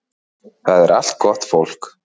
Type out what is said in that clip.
Það er allt gott fólk